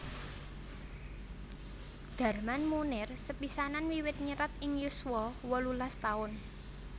Darman Moenir sepisanan wiwit nyerat ing yuswa wolulas taun